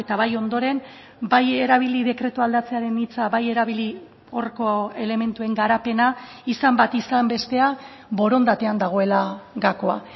bai ondoren bai erabili dekretua aldatzearen hitza bai erabili horko elementuen garapena izan bat izan bestea borondatean dagoela gakoa